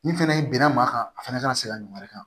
Ni fɛnɛ bɛnna maa kan a fɛnɛ kana se ka ɲuman kɛ